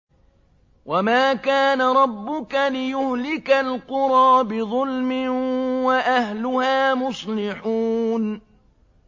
وَمَا كَانَ رَبُّكَ لِيُهْلِكَ الْقُرَىٰ بِظُلْمٍ وَأَهْلُهَا مُصْلِحُونَ